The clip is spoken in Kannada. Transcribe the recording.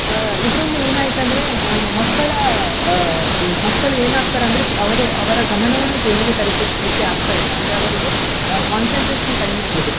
ಅಹ್ ಇದರಿಂದ ಏನಾಯ್ತಂದ್ರೆ ಮಕ್ಕಳ ಅಹ್ ಮಕ್ಕಳು ಏನಾಗ್ತಾರಂದ್ರೆ ಅವರು ಅವರ ಗಮನವನ್ನ ಕೆಂದ್ರಿಕರಿಸ್ಲಿಕ್ಕೆ ಆಗ್ತಾ ಇಲ್ಲ ಅಂದ್ರೆ ಅವರಿಗೆ ಅಹ್ concentration ಕಡಿಮೆ ಆಗಿದೆ.